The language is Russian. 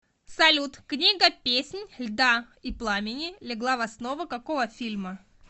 салют книга песнь льда и пламени легла в основу какого фильма